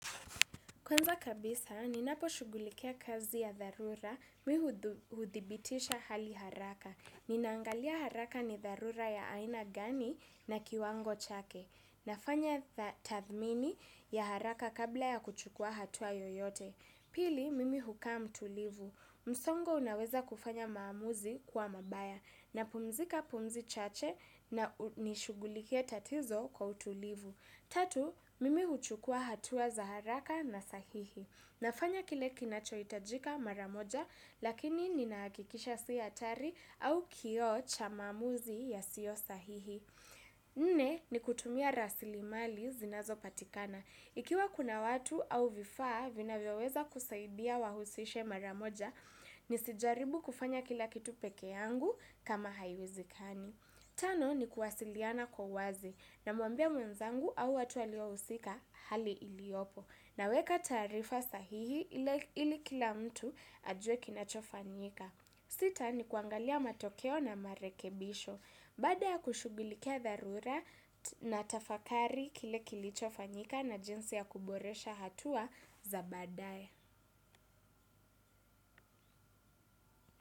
Kwanza kabisa, ninaposhughulikia kazi ya dharura mi huthibitisha hali haraka. Ninaangalia haraka ni dharura ya aina gani na kiwango chake. Nafanya tathmini ya haraka kabla ya kuchukua hatua yoyote. Pili, mimi hukaa mtulivu. Msongo unaweza kufanya maamuzi kuwa mabaya. Napumzika pumzi chache na nishughulikie tatizo kwa utulivu. Tatu, mimi huchukua hatua za haraka na sahihi. Nafanya kile kinachohitajika mara moja, lakini ninahakikisha si hatari au kioo cha maamuzi yasiyosahihi. Nne, ni kutumia rasilimali zinazopatikana. Ikiwa kuna watu au vifaa vinavyoweza kusaidia wahusishe mara moja, nisijaribu kufanya kila kitu peke yangu kama haiwezikani. Tano ni kuwasiliana kwa uwazi, namwambia mwenzangu au watu waliohusika hali iliopo, naweka taarifa sahihi ili kila mtu ajuwe kinachofanyika. Sita ni kuangalia matokeo na marekebisho, baada ya kushughulikia dharura natafakari kile kilichofanyika na jinsi ya kuboresha hatua za baadaye.